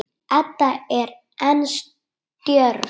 Edda er enn stjörf.